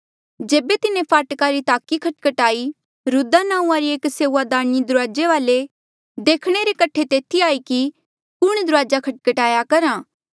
जेबे तिन्हें फाटका री ताकी खटखटाई रुद्दा नांऊँआं री एक सेऊआदारीणी दुराजे वाले ऐें देखणे रे कठे तेथी आई कि कुण दुराजा खटखटाया करहा